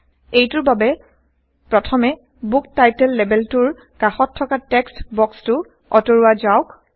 এইটোৰ বাবে প্ৰথমে বুক টাইটল লেবেলটোৰ কাষত থকা টেক্সট বক্সটো অতৰুৱা যাওক